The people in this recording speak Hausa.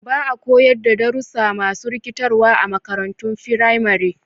Ba a koyar da darussa masu rikitarwa a makarantun firamare.